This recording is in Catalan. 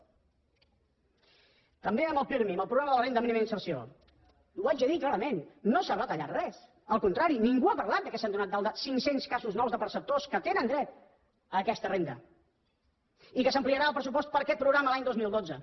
també amb el pirmi amb el programa de la renda mínima d’inserció ho haig de dir clarament no s’ha retallat res al contrari ningú ha parlat que s’han donat d’alta cinc cents casos nous de perceptors que tenen dret a aquesta renda i que s’ampliarà el pressupost per a aquest programa l’any dos mil dotze